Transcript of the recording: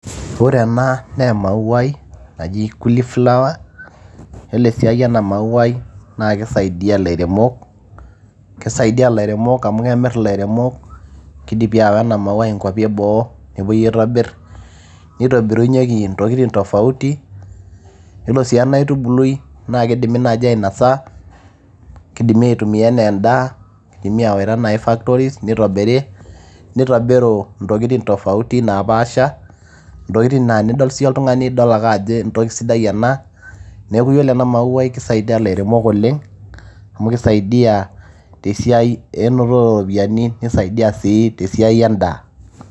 ore ena naa emauai naji kuli flower yiolo esiai ena mauai naa kisaidia ilairemok amu kemirr ilairemok kidipi aawa ena mauai inkuapi eboo nepuoi aitobirr nitobirunyieki intokitin tofauti, yiolo sii ena aitubului naa kidimi naaji ainosa kidimi aitumia ena endaa nidimi aawaita naaji factories nitobiri nitobiru intokitin tofauti naapasha intokitin naa tenidol siiyie oltung'ani idol ake ajo entoki sidai ena neeku ore ena mauai naa kisaidia ilairemok oleng amu kisaidia tesiai enototo ooropiyiani nisaidia sii tesiai endaa.